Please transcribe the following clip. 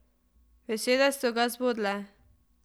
Besede so ga zbodle.